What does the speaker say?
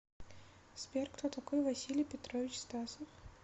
сбер кто такой василий петрович стасов